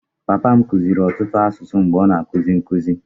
Papa m kụziiri ọtụtụ asụsụ mgbe ọ na-akuzi nkụzi.